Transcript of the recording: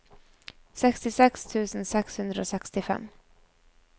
sekstiseks tusen seks hundre og sekstifem